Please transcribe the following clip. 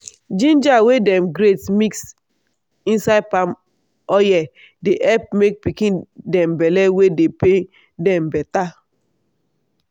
ginger wey dem grate mix inside palm oye dey help make pikin dem belle wey dey pain dem beta.